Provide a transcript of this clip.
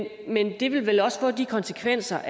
det vil også få de konsekvenser